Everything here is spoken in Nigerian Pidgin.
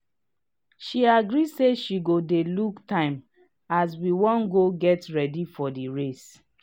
she agree say she go dey look time as we wan go get ready for the race